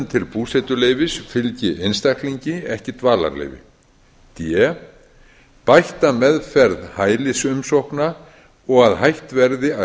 til búsetuleyfis fylgi einstaklingi ekki dvalarleyfi d bætta meðferð hælisumsókna og að hætt verði að